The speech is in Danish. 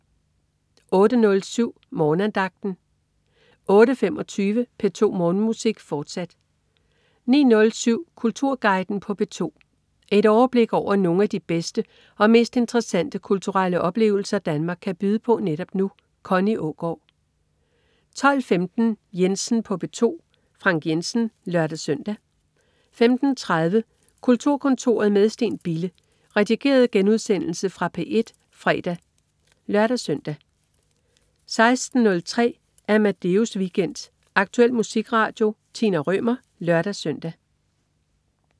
08.07 Morgenandagten 08.25 P2 Morgenmusik, fortsat 09.07 Kulturguiden på P2. Et overblik over nogle af de bedste og mest interessante kulturelle oplevelser Danmark kan byde på netop nu. Connie Aagaard 12.15 Jensen på P2. Frank Jensen (lør-søn) 15.30 Kulturkontoret med Steen Bille. Redigeret genudsendelse fra P1 fredag (lør-søn) 16.03 Amadeus Weekend. Aktuel musikradio. Tina Rømer (lør-søn)